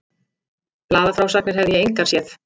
Blaðafrásagnir hefði ég engar séð.